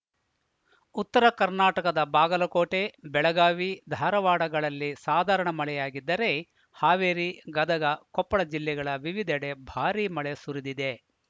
ಉತ್ತರ ಕರ್ನಾಟಕದ ಬಾಗಲಕೋಟೆ ಬೆಳಗಾವಿ ಧಾರವಾಡಗಳಲ್ಲಿ ಸಾಧಾರಣ ಮಳೆಯಾಗಿದ್ದರೆ ಹಾವೇರಿ ಗದಗ ಕೊಪ್ಪಳ ಜಿಲ್ಲೆಗಳ ವಿವಿಧೆಡೆ ಭಾರಿ ಮಳೆ ಸುರಿದಿದೆ